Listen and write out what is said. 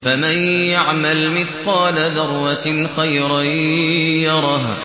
فَمَن يَعْمَلْ مِثْقَالَ ذَرَّةٍ خَيْرًا يَرَهُ